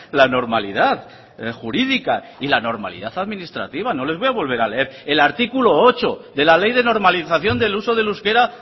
la normalidad jurídica y la normalidad administrativa no les voy a volver a leer el artículo ocho de la ley de normalización del uso del euskera